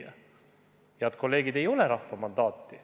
Head kolleegid, sel muudatusel ei ole rahva mandaati.